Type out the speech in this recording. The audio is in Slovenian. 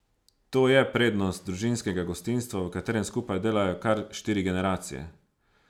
To je prednost družinskega gostinstva, v katerem skupaj delajo kar štiri generacije!